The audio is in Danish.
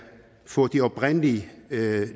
få de oprindelige